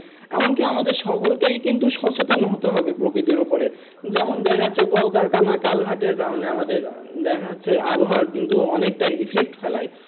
এমনকি আমাদের সকলকেই কি কিন্তু সচেতন হতে হবে প্রকৃতির উপরে যেমন দেখা যাচ্ছে কল কারখানা চালভাটের কারনে আমাদের দেখা যাচ্ছে আবহাওয়ার কিন্তু অনেকটা effect ফেলায়।